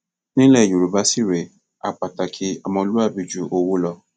nílẹ yorùbá sì rèé á pàtàkì ọmọlúàbí ju owó lọ